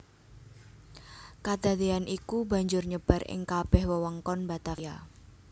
Kadadean iku banjur nyebar ing kabeh wewengkon Batavia